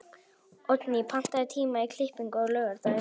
Oddný, pantaðu tíma í klippingu á laugardaginn.